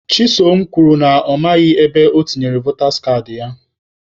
Chisom kwuru na ya amaghị ebe o tinyere votas kaadị ya.